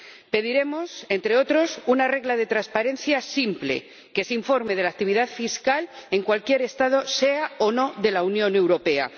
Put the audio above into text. Pediremos, entre otras cosas, una regla de transparencia simple que se informe de la actividad fiscal en cualquier Estado, sea o no de la Unión Europea.